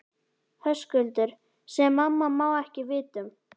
Höskuldur: Sem mamma má ekki vita um?